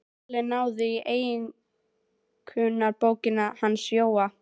Lalli náði í einkunnabókina hans Jóa.